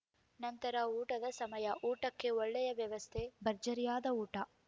ನಂತರ ಊಟದ ಸಮಯ ಊಟಕ್ಕೆ ಒಳ್ಳೆಯ ವ್ಯವಸ್ಥೆ ಭರ್ಜರಿಯಾದ ಊಟ